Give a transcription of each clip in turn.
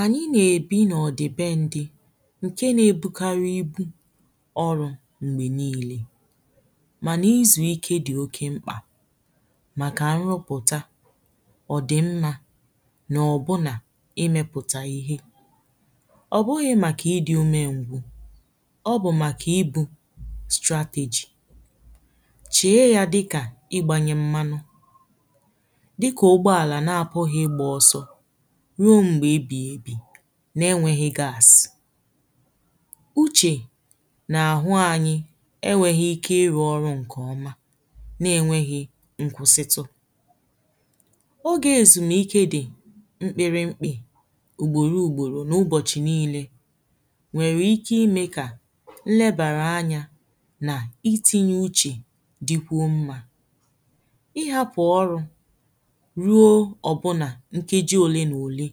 ànyị na-èbi nọ̀ dìbe ndị̄ ǹke na-ebu karị ibū ọrụ̄ m̀gbè niilē mànà izù ike dị̀ oke mkpà màkà nrụpụ̀ta ọ̀dị̀mmā nà ọ̀ bụ nà imēpụta ihe ọ̀ bụghị̄ màkà idī ume ngwū ọ bụ̀ màkà ibū strategy chee yā dị kà ịgbānyē mmanụ dikà ụgbọ àlà nà-àpụghị̄ gbà ọsọ ruo m̀gbè ebì ebì na-enwēghī gas uchè n’àhụ anyị̄ enwēghī ike ịrụ̄ ọrụ ǹkè ọma na-enweghī nkwụsịtụ ogè èzùmike dị̀ mkpere mpì ògbòru gbòrò n’ụgbọ̀chị̀ niilē nwèrè ike imē kà lebère anyā nà ítīɲē úʧè digwo mmā i hapụ̀ ọrụ̄ ruo ọbụnà nkeji ole n’òle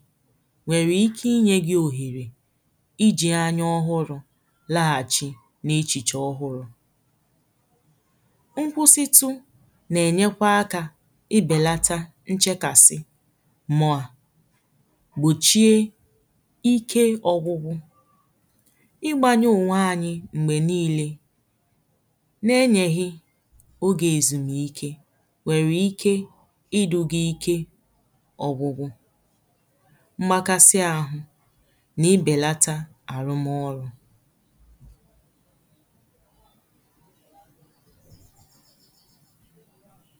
nwèrè ike inyē gi òhèrè ijī anya ọhụrụ̄ laghàchị n’echìchì ọhụrụ̄ nkwụsịtụ na-ènyekwa akā ibèlata nchekàsị mà gbòchie ike ọgụgụ ịgbānyụ ònwe anyị m̀gbè niilē ne nyeghi ogè èzùmike nwèrè ike idūgi ike ọgụgụ makasị ahụ̄ na-ibèlata àrụ mọrụ̄